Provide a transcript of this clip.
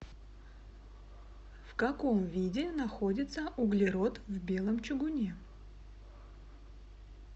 в каком виде находится углерод в белом чугуне